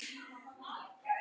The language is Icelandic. Höfðar það til barnanna?